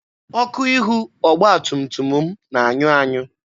Ọkụ ihu ọgba tum tum m na-anyụ anyụ.